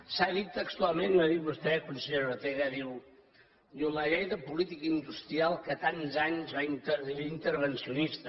s’ha dit textualment ho ha dit vostè consellera ortega diu la llei de política industrial que tants anys va ser intervencionista